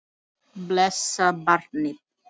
Blessað barnið.